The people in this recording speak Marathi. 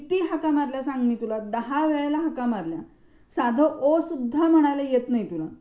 किती हाका मारल्या सांग मी तुला? दहा वेळेला हाका मारल्या साध ओ सुद्धा म्हणायला येत नाही तुला.